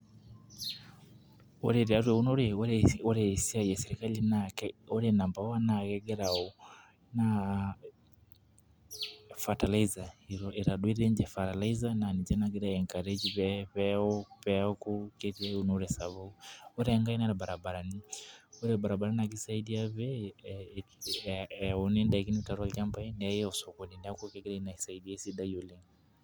Ore tiatua eunore ore esiai ee serikali ore number one naa kegira naa fertilizer itobiraki naa ketayu ninche fertilizer naa kegiraa aii encourage peeku keetii eunore sapuk. Ore enkae naa irabirani ore irbaribarani naa kisaidia pee. Eani daikin too lchambai meyai atu oo sokoni neeku kegira ina aisadia esidai oleng'.